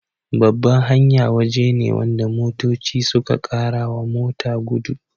Babban hanya waje ne wanda motoci suka karawa mota gudu